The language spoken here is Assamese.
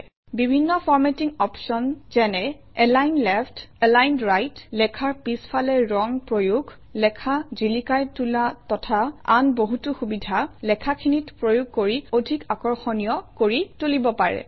বিভিন্ন ফৰ্মেটিং অপশ্যন যেনে এলাইন লেফ্ট এলাইন ৰাইট লেখাৰ পিছফালে ৰং প্ৰয়োগ লেখা জিলিকাই তোলা তথা আন বহুতো সুবিধা লিখাখিনিত প্ৰয়োগ কৰি অধিক আকৰ্ষণীয় কৰি তুলিব পাৰি